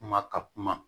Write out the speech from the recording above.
Kuma ka kuma